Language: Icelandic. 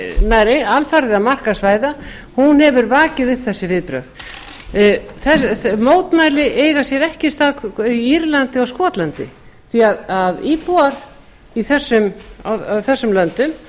nær alfarið að markaðsvæða hún hefur vakið upp þessi viðbrögð mótmæli eiga sér ekki stað í írlandi og skotlandi því íbúar í þessum löndum